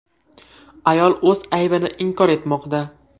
Ayol o‘z aybini inkor etmoqda.